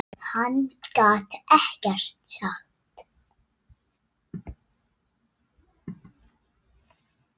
Hann gat ekkert sagt.